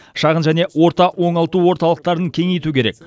шағын және орта оңалту орталықтарын кеңейту керек